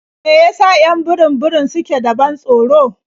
Me ya sa 'yan burum-burum suke da ban tsoro?